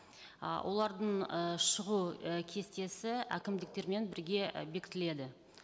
ы олардың ы шығу і кестесі әкімдіктермен бірге і бекітіледі